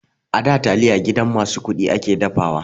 A da taliya gidan masu kuɗi ake dafawa.